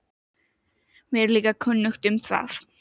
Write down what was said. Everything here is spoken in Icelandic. Mér er líka kunnugt um það.